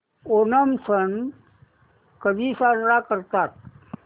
ओणम सण कधी साजरा करतात